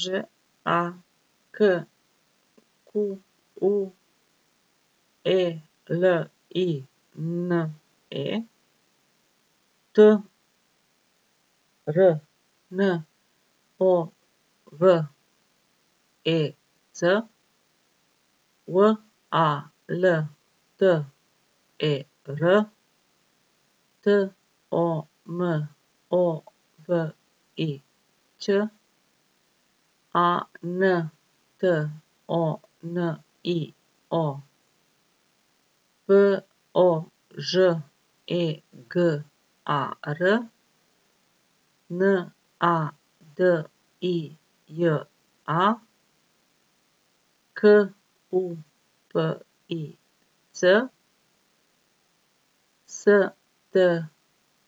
Ž A K Q U E L I N E, T R N O V E C; W A L T E R, T O M O V I Ć; A N T O N I O, P O Ž E G A R; N A D I J A, K U P I C; S T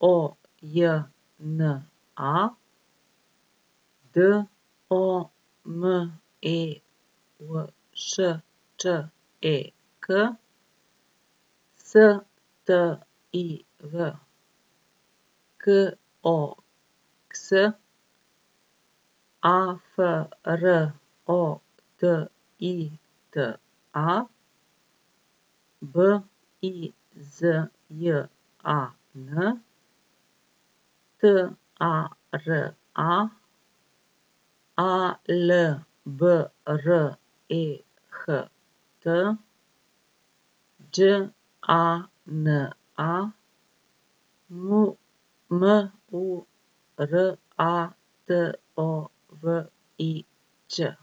O J N A, D O M E V Š Č E K; S T I V, K O X; A F R O D I T A, B I Z J A N; T A R A, A L B R E H T; Đ A N A, M M U R A T O V I Ć.